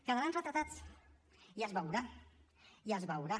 quedaran retratats i es veurà i es veurà